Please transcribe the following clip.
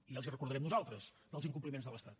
i els els recordarem nosaltres els incompliments de l’estat